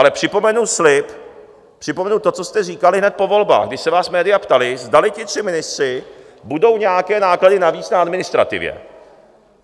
Ale připomenu slib - připomenu to, co jste říkali hned po volbách, kdy se vás média ptala, zdali ti tři ministři budou nějaké náklady navíc na administrativě.